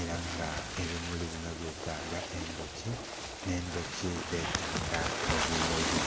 era nga ebimuli binho byetaaga endhuki nh'endhuki dhetaaga ebimuli.